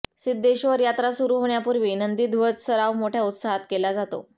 सिद्धेश्वर यात्रा सुरु होण्यापूर्वी नंदीध्वज सराव मोठ्या उत्साहात केला जातो